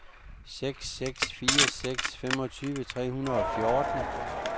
seks seks fire seks femogtyve tre hundrede og fjorten